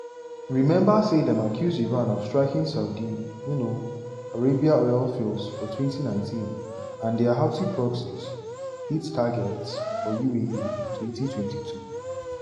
remember say dem accuse iran of striking saudi um arabia oil fields for 2019 and dia houthi proxies hit targets for uae for 2022.